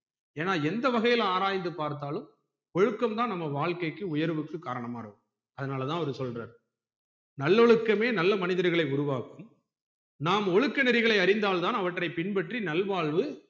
ஏன்னா எந்த வகைல ஆராய்ந்து பாத்தாலும் ஒழுக்கம் தான் நம்ம வாழ்க்கைக்கு உயர்வுக்கு காரணமா இருக்கும் அதனால தான் அவரு சொல்றாரு நல்லொழுக்கமே நல்ல மனிதர்களை உருவாக்கும் நாம் ஒழுக்க நெறிகளை அறிந்தால் தான் அவற்றை பின் பற்றி நல்வாழ்வு